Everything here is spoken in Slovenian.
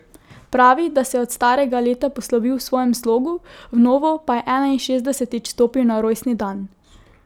Pravi, da se je od starega leta poslovil v svojem slogu, v novo pa je enainšestdesetič stopil na rojstni dan.